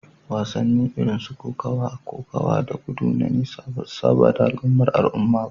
Wasanni irin su kokawa, kokawa da gudu na nesa ba su saba da al'ummar al'umma ba